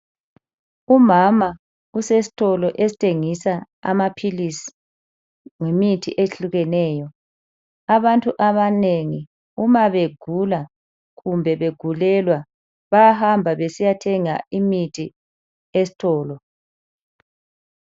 Umama usesitolo esithengisa amaphilisi lemithi ehlukeneyo. Abantu abanengi uma begula kumbe begulelwa bayahamba ukuyothenga imithi esitolo.